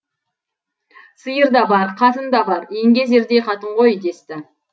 сиыр да бар қатын да бар еңгезердей қатын ғой десті